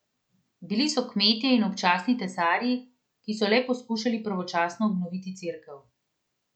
Bilo so kmetje in občasni tesarji, ki so le poskušali pravočasno obnoviti cerkev.